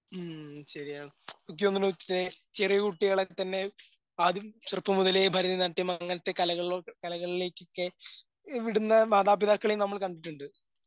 ഉം ശരിയാ ഇക്ക് അങ്ങനൊക്കെ ചെറിയ കുട്ടികളെ തന്നെ ആദ്യം ചെറുപ്പം മുതലേ ഭാരതനാട്യം അങ്ങനത്തെ കലകളോട് കലകളിലേക്കെക്കെ ഇവിടുന്ന് മാതാപിതാക്കളെയും നമ്മൾ കണ്ടിട്ടുണ്ട്.